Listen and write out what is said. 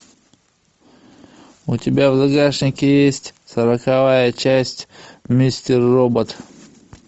у тебя в загашнике есть сороковая часть мистер робот